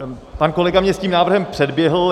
Pan kolega mě s tím návrhem předběhl.